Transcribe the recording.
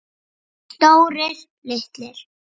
Stórir, litlir.